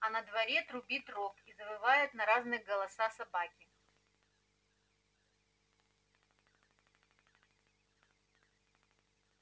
а на дворе трубит рог и завывают на разные голоса собаки